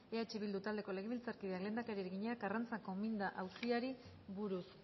eh bildu taldeko legebiltzarkideak lehendakariari egina karrantzako minda auziari buruz